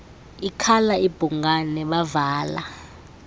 ikhala ibhungane bavala